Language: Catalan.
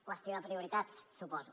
qüestió de prioritats suposo